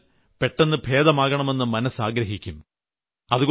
രോഗം വന്നാൽ പെട്ടെന്ന് ഭേദമാകണമെന്ന് മനസ്സ് ആഗ്രഹിക്കും